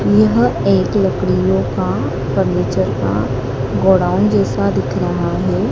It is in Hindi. यह एक लकड़ियों का फर्नीचर का गोदाम जैसा दिख रहा है।